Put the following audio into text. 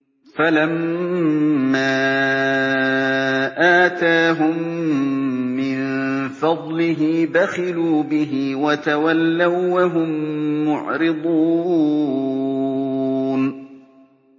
فَلَمَّا آتَاهُم مِّن فَضْلِهِ بَخِلُوا بِهِ وَتَوَلَّوا وَّهُم مُّعْرِضُونَ